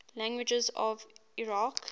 languages of iraq